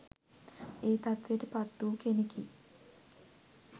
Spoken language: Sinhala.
ඒ තත්ත්වයට පත් වූ කෙනෙකි